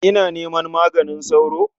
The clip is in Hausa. Ina neman maganin sauro?